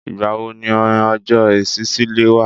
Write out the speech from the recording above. Ìgbà wo ni ọjọ́ ìṣísílẹ̀ wà?